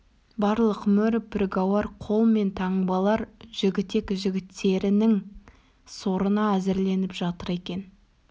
барлық мөр піргауар қол мен таңбалар жігітек жігіттерінің сорына әзірленіп жатыр екен